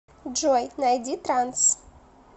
джой найди транс